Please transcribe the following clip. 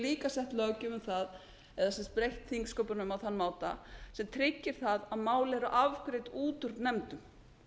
líka sett löggjöf um það eða breytt þingsköpunum á þann máta sem tryggir að mál eru afgreidd út úr nefndum